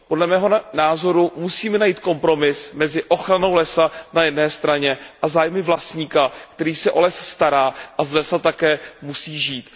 Podle mého názoru musíme najít kompromis mezi ochranou lesa a zájmy vlastníka, který se o les stará a z lesa také musí žít.